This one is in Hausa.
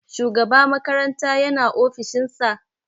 Shugaba makaranta yana ofishin sa?